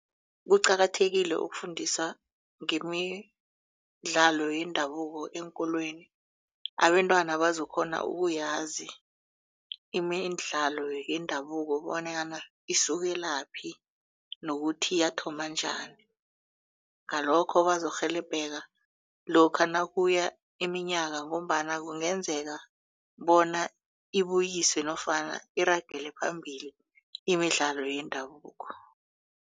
Kuqakathekile ukufundisa ngemidlalo yendabuko eenkolweni abentwana bazokukghona uyazi imidlalo yendabuko bonyana isukelaphi nokuthi yathoma njani. Ngalokho bazokurhelebheka lokha nakuya iminyaka ngombana kungenzeka bona ibuyiswe nofana iragele phambili imidlalo yendabuko.